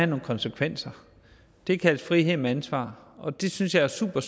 nogle konsekvenser det kaldes frihed under ansvar og det synes jeg er super